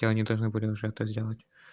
они должны были уже это сделать